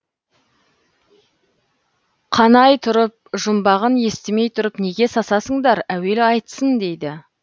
қанай тұрып жұмбағын естімей тұрып неге сасасыңдар әуелі айтсын дейді